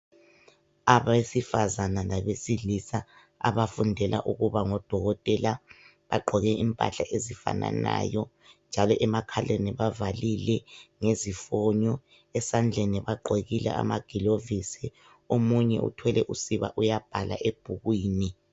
Abesifazane labesilisa abafundela ukuba ngodokotela bagqoke impahla ezifananayo njalo emakhaleni bavalile ngezifunyo esandleni bagqokile amagilovizi omunye uthwele usiba uyabhala ebhukwini.